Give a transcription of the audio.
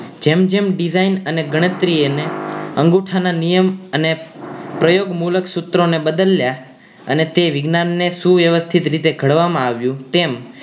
જેમ જેમ design અને ગણતરી એને અંગુઠા ના નિયમ અને પ્રયોગ મુલક સૂત્ર ને બદલ્યા અને તે વિજ્ઞાન ને શું વ્યવસ્થિત રીતે ઘડવા માં આવ્યું તેમ